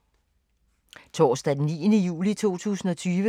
Torsdag d. 9. juli 2020